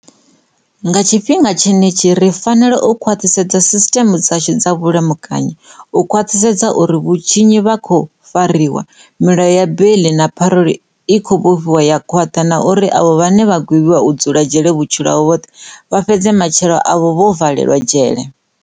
Nga tshifhinga tshenetshi, ri fanela u khwaṱhisa sisṱeme dzashu dza vhulamukanyi, u khwaṱhisedza uri vhatshinyi vha khou fariwa, milayo ya beiḽi na paruḽa i khou vhofhiwa ya khwaṱha na uri avho vhane vha gwevhiwa u dzula dzhele vhu-tshilo havho hoṱhe vha fhedza matshilo avho vho valelwa dzhele.